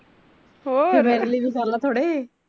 ਫਿਰ ਮੇਰੇ ਲਈ ਵੀ ਕਰਲਾ ਥੋੜੇ